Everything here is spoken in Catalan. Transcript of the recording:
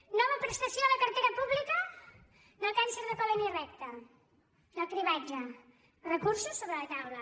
nova prestació a la cartera pública del càncer de còlon i recte del cribatge recursos sobre la taula